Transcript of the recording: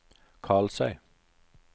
Karlsøy